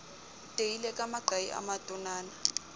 teile ka maqai a matonana